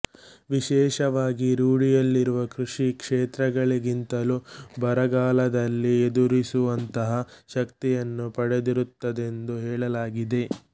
ವಿಶೇಷವಾಗಿ ರೂಢಿಯಲ್ಲಿರುವ ಕೃಷಿ ಕ್ಷೇತ್ರಗಳಿಗಿಂತಲೂ ಬರಗಾಲದಲ್ಲಿ ಎದುರಿಸುವಂತಹ ಶಕ್ತಿಯನ್ನು ಪಡೆದಿರುತ್ತದೆಂದು ಹೇಳಲಾಗಿದೆ